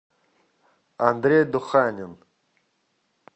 андрей духанин